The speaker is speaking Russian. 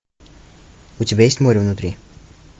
у тебя есть море внутри